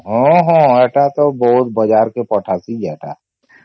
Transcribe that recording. ହଁ ହଁ ସେଟା ତ ବହୁତ ବଜ଼ାର ଥି ପଠସି ସେଟା